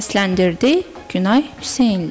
Səsləndirdi Günay Hüseynli.